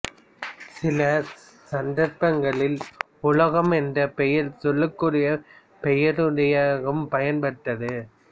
சில சந்தர்பங்களில் உலோகம் என்ற பெயர் சொல்லுக்குரிய பெயரடையாகவும் பயன்பட்டது